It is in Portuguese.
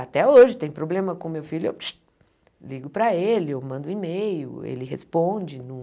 Até hoje, tem problema com o meu filho, eu ligo para ele, eu mando um e-mail, ele responde. Não